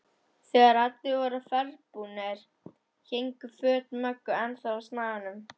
Þegar allir voru ferðbúnir héngu föt Möggu ennþá á snaganum.